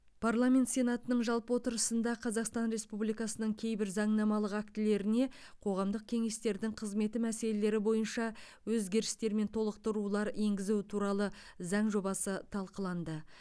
парламент сенатының жалпы отырысында қазақстан республикасының кейбір заңнамалық актілеріне қоғамдық кеңестердің қызметі мәселелері бойынша өзгерістер мен толықтырулар енгізу туралы заң жобасы талқыланды